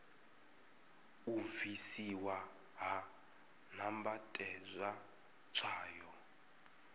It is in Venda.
u bvisiwa ha nambatedzwa tswayo